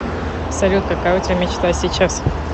салют какая у тебя мечта сейчас